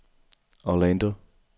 Orlando